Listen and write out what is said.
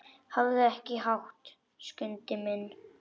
Hafðu ekki hátt, Skundi minn.